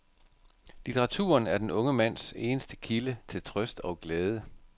Litteraturen er den unge mands eneste kilde til trøst og glæde.